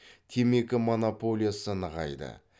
темекі монополиясы нығайды